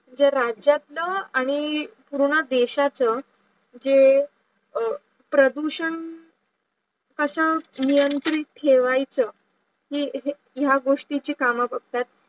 म्हणजे राज्यातलं आणी पूर्ण देशाच जे प्रदूषण कशा नियंत्रित ठेवायच हे या गोष्टीची काम बगतात